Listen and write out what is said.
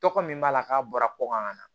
Tɔgɔ min b'a la k'a bɔra ko kan ka na